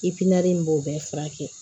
in b'o bɛɛ furakɛ